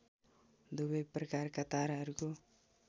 दुवै प्रकारका ताराहरूको